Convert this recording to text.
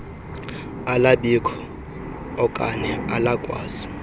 alabikho okane alakwazi